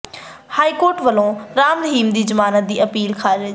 high court ਵੱਲੋਂ ਰਾਮ ਰਹੀਮ ਦੀ ਜ਼ਮਾਨਤ ਦੀ ਅਪੀਲ ਖ਼ਾਰਜ